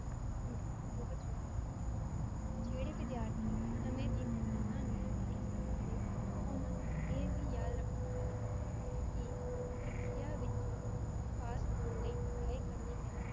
ਸੰਤੁਲਨ ਬਹੁਤ ਜਰੂਰੀ ਹੈ, ਜਿਹੜੇ ਵਿਧੀਅਰਥੀ ਸਮੇ ਦੀ ਮੇਹਤਾ ਨੂੰ ਨਹੀਂ ਸਮਝਦੇ ਓਨਾ ਨੂੰ ਏ ਵੀ ਯਾਦ ਰੱਖਣਾ ਚਾਹੀਦਾ ਹੈ, ਕੀ ਪਰੀਖਿਆ ਵਿੱਚ ਪਾਸ ਹੋਣ ਲਈ ਪੜ੍ਹਾਈ ਕਰਨੀ ਪੈਂਦੀ ਹੈ